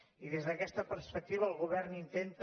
i des d’aquesta perspectiva el govern intenta